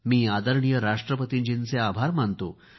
मी आदरणीय राष्ट्रपतीजींचे आभार मानतो